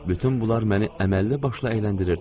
Bütün bunlar məni əməlli başlı əyləndirirdi.